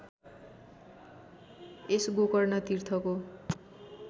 यस Gokarna तीर्थको